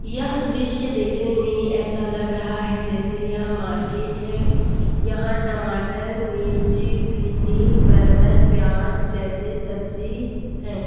यह दृश्य देखने मे ऐसा लग रहा है जैसे यह मार्केट है यहां टमाटर मिर्ची भिंडी परवल प्याज जैसे सब्जी है।